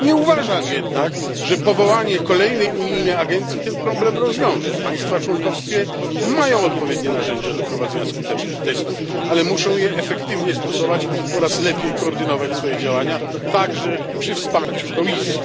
Nie uważam jednak, że powołanie kolejnej unijnej agencji rozwiąże ten problem. Państwa członkowskie mają odpowiednie narzędzia do prowadzenia skutecznych testów, ale muszą je efektywnie stosować oraz lepiej koordynować swoje działania, także przy wsparciu Komisji.